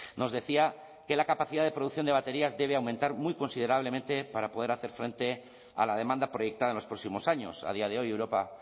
nos decía que la capacidad de producción de baterías debe aumentar considerablemente para poder hacer frente a la demanda proyectada en los próximos años a día de hoy europa